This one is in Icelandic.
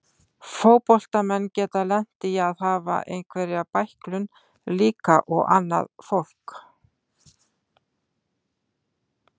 Fótboltamenn geta lent í að hafa einhverja bæklun líka og annað fólk.